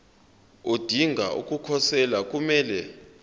odinga ukukhosela kumele